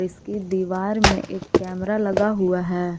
इसकी दीवार में एक कैमरा लगा हुआ है।